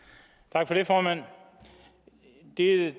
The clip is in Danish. tak for det formand det